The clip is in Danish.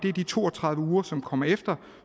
er de to og tredive uger som kommer efter